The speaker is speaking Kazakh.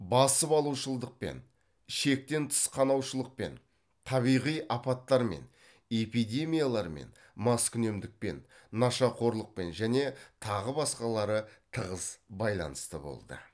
басып алушылдықпен шектен тыс қанаушылықпен табиғи апаттармен эпидемиялармен маскүнемдікпен нашақорлықпен және тағы басқалары тығыз байланысты болды